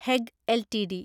Hague LTD